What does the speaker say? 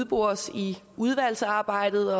bores ud i udvalgsarbejdet